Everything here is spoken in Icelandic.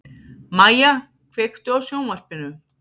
Mæja, kveiktu á sjónvarpinu.